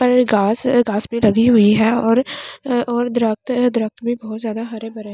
पर घास घास भी लगी हुई है और और दरख्त है दरख्त भी बहोत ज्यादा हरे भरे --